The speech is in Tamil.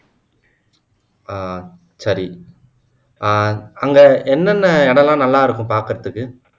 ஆஹ் சரி ஆஹ் அங்க என்னென்ன இடம் எல்லாம் நல்லா இருக்கும் பாக்குறதுக்கு